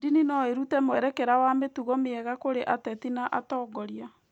Ndini no ĩrute mwerekera wa mĩtugo mĩega kũrĩ ateti na atongoria